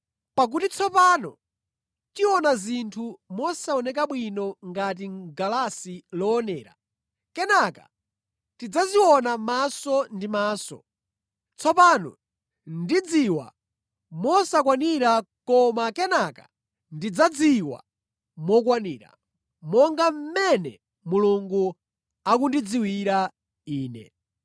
Pakuti tsopano tiona zinthu mosaoneka bwino ngati mʼgalasi loonera; kenaka tidzaziona maso ndi maso. Tsopano ndidziwa mosakwanira koma kenaka ndidzadziwa mokwanira, monga mmene Mulungu akundidziwira ine.